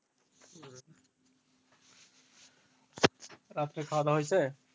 রাত্রে খাওয়া দাও হয়েছে?